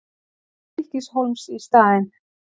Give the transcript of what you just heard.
Stykkishólms í staðinn.